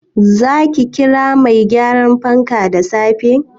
Zaki kira mai gyaran fankan da safe?